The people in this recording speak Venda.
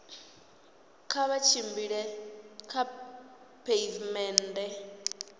kha vha tshimbile kha pheivimennde